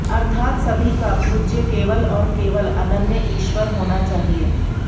अर्थात सभी का पूज्य केवल और केवल अनन्य ईश्वर होना चाहिए